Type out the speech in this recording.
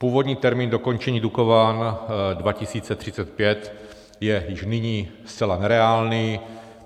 Původní termín dokončení Dukovan 2035 je již nyní zcela nereálný.